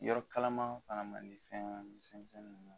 Yɔrɔ kalama fana man di fɛn